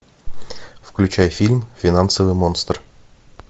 включай фильм финансовый монстр